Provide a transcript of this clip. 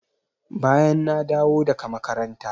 Bayan na dawo daga makaranta.